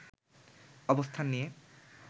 অবস্থান নিয়ে